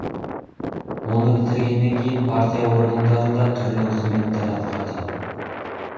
оны бітіргеннен кейін партия органдарында түрлі қызметтер атқарды